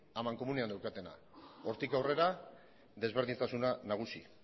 amankomunean daukatena hortik aurrera desberdintasuna nagusi